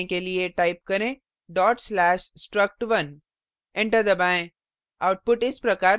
निष्पादित करने के लिए type करें dot slash/struct1 enter दबाएँ